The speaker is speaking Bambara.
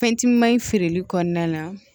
Fɛn timimanye feereli kɔnɔna la